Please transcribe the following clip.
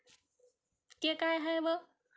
हे काय आहे वं?